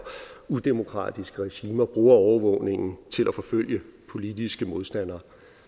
udemokratiske regimer bruger overvågningen til at forfølge politiske modstandere